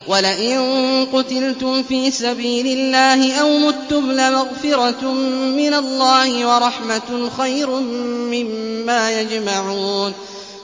وَلَئِن قُتِلْتُمْ فِي سَبِيلِ اللَّهِ أَوْ مُتُّمْ لَمَغْفِرَةٌ مِّنَ اللَّهِ وَرَحْمَةٌ خَيْرٌ مِّمَّا يَجْمَعُونَ